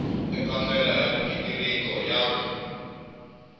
eka ndlela ya mighiniriko ya